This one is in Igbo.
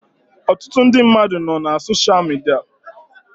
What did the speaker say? Ọtụtụ ndị mmadụ nọ na sosha midia